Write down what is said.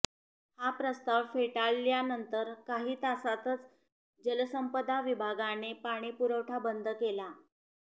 हा प्रस्ताव फेटाळल्या नंतर काही तासातच जलसंपदा विभागाने पाणी पुरवठा बंद केला